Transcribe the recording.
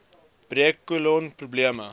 breuk kolon probleme